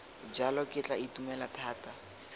jalo ke tla itumela thata